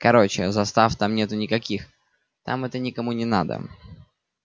короче застав там нету никаких там это никому не надо